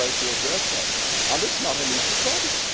I tried to address that, and it is not an easy problem.